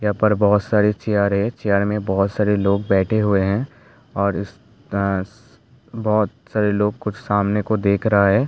यहाँ पर बहुत सारी चेयर हैं चेयर में बहुत सारी लोग बैठे हुए हैं और इस-आ बहुत सारे लोग कुछ सामने को देख रहा हैं।